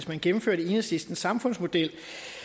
man gennemførte enhedslistens samfundsmodel